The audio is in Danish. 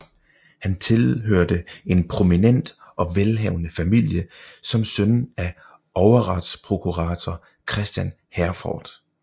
Han tilhørte en prominent og velhavende familie som søn af overretsprokurator Christian Herforth